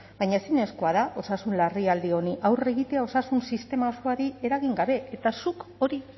baina ezinezkoa da osasun larrialdi honi aurre egitea osasun sistema osoari eragin gabe eta zuk hori